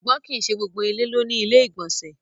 Ṣùgbọ́n kí í ṣé gbogbo ilẹ̀ ló ni ilẹ̀-ìgbọ̀nsẹ̀.